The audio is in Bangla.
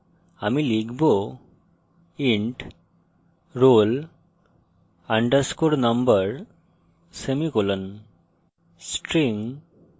সুতরাং আমি লিখব int roll underscore number semicolon